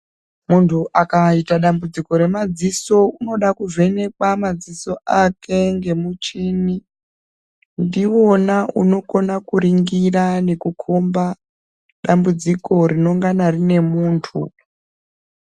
Muntu akaita dambudziko remadziso unoda kuvhenekwa madziso ake ngemuchini. Ndiwona unokona kuringira nekukhomba dambudziko rinongana rine muntu.